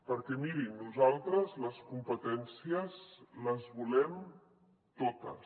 perquè miri nosaltres les competències les volem totes